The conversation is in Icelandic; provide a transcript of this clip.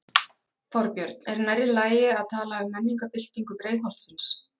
Þorbjörn: Er nærri lagi að tala um menningarbyltingu Breiðholtsins?